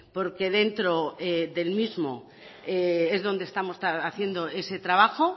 porque dentro del mismo es donde estamos haciendo ese trabajo